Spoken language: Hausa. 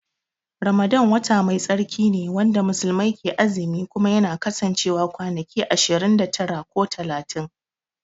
Ramadan wata Mai tsarki ne wanda muslimai ke azumi Kuma yana kasancewa kwanaki ashirin da tara ko talatin.